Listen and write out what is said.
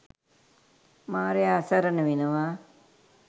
මාරයා අසරණ වෙනවා.